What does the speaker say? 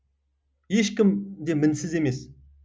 ешкім де мінсіз емес